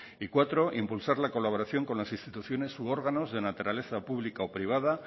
y cuatro impulsar la colaboración con las instituciones u órganos de naturaleza pública o privada